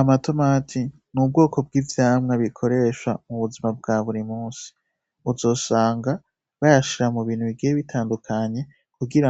Amatomati n'ubwoko bw'ivyamwa bikoresha mu buzima bwa buri munsi uzosanga bayashira mubintu bigiye bitandukanye kugira